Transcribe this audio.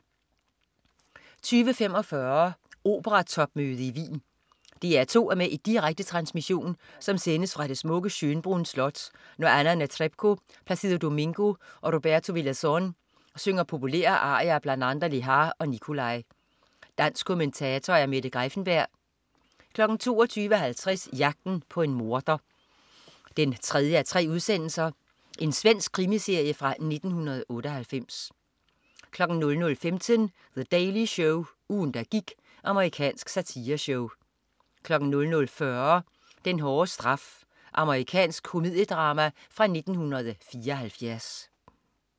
20.45 Operatopmøde i Wien. DR2 er med i en direkte transmission, som sendes fra det smukke Schönbrunn slot, når Anna Netrebko, Placido Domingo og Roberto Villazon synger populære arier af bl.a. Lehàr og Nicolai. Dansk kommentator: Mette Greiffenberg 22.50 Jagten på en morder 3:3. Svensk krimi-miniserie fra 1998 00.15 The Daily Show. Ugen der gik. Amerikansk satireshow 00.40 Den hårde straf. Amerikansk komediedrama fra 1974